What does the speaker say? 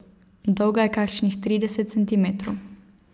Dolga je kakšnih trideset centimetrov.